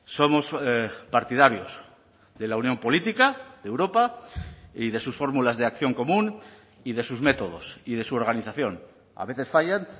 somos partidarios de la unión política de europa y de sus fórmulas de acción común y de sus métodos y de su organización a veces fallan